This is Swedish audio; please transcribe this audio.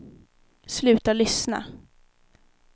sluta lyssna